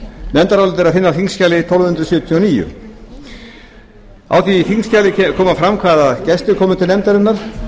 nefndarálitið er að finna á þingskjali tólf hundruð sjötíu og níu á þingskjalinu kemur fram hvaða gestir komu til nefndarinnar